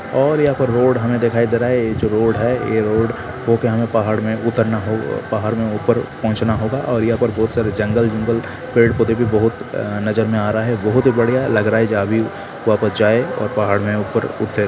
और यहाँ पे रोड हमें दिखाए दे रहा है ये जो रोड है ए रोड हो के हमें पहाड़ में उतरना होगा हो पहाड़ में ऊपर पहुँचना होगा और यहाँ पर बहुत सारे जंगल-वंगल पेड़-पौधे भी बहुत नजर में आ रहा है बहुत ही बढ़िया लग रहा है जहाँ भी वहाँ पर जाए और पहाड़ में ऊपर उड़ते --